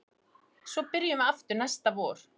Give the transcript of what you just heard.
Svo byrjum við aftur næsta vor